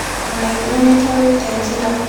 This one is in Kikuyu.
Ona ithuĩ nĩtũrĩte njĩra